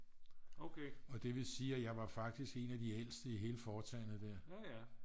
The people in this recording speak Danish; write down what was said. og det vil sige at jeg var faktisk en af de ældste i hele foretagendet der